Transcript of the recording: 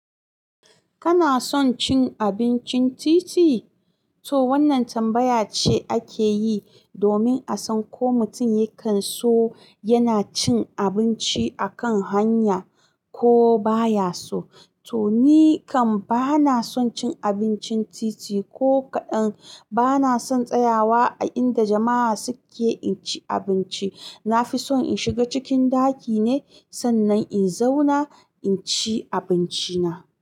Kana son cin abincin titi? To wannan tambaya ce ake yi domin a san ko mutum ya kan so yana cin abinci a kan hanya ko baya so. To ni kam bana son cin abincin titi ko ka'dan, bana son tsayawa a inda jama'a suke inci abinci. Na fi son in shiga cikin ɗaki ne, sannan in zauna in ci abinci na.